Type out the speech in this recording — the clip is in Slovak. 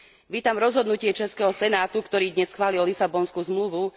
Vítam rozhodnutie českého senátu, ktorý dnes schválil Lisabonskú zmluvu.